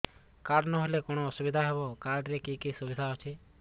card ନହେଲେ କଣ ଅସୁବିଧା ହେବ କାର୍ଡ ରେ କି କି ସୁବିଧା ଅଛି